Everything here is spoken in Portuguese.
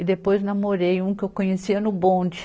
E depois namorei um que eu conhecia no bonde.